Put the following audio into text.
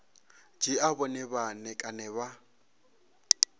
dzhia vhone vhane kana vha